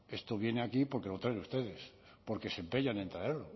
esto viene aquí porque lo traen ustedes porque se empeñan en traerlo